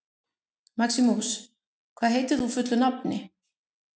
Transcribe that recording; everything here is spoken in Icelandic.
Maximus, hvað heitir þú fullu nafni?